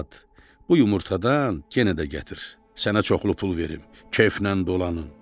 "Arvad, bu yumurtadan yenə də gətir, sənə çoxlu pul verim, kefnən dolanın."